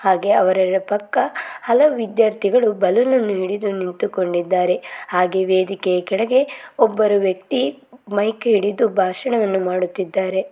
ಹಾಗೆ ಅವರ ಪಕ್ಕ ಅಲವು ವಿದ್ಯಾರ್ಥಿಗಳು ಬಳ್ಳೂನ್ ಅನ್ನು ಹಿಡಿದು ನಿಂತ್ ಕೊಂಡಿದರೆ ಹಾಗೆ ವೇದಿಕೆ ಕೆಳಗೆ ಒಬ್ಬ ವ್ಯಕ್ತಿ ಮೈಕ್ ಹಿಡಿದು ಬಾಷಣ ಮಾಡುತಿದ್ದರೆ.